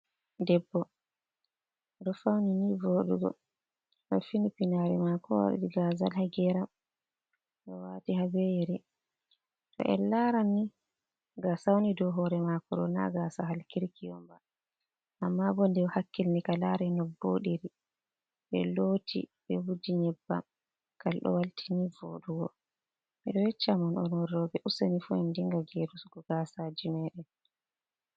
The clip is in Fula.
Debbo oɗo fauni nii voodugo, ɗo finii piinari mako waɗi gaazal ha geram, oɗo waati ha be yeeri, to en laaranni gasa wooni dou hoore mako ɗo na gaasa hal kirki onba amma bo nde o hakkilani ka laaru no ka wooɗiri, ɓe looti ɓe vuuji nyebbam kalɗo walti nii vooɗugo, me ɗo yeccamon onon roɓe useni fu en dinga geerugo gaasaji meɗen.